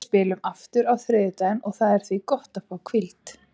Við spilum aftur á þriðjudaginn og það er því gott að fá hvíld.